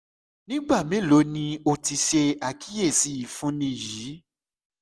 ni igba melo ni o ti ṣe akiyesi ifunni yii